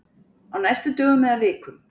Á næstu dögum eða vikum.